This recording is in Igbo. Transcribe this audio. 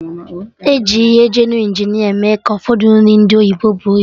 Eji ihe geenu Injineer eme ka Ụfọdụ nri ndị oyibo buo ibu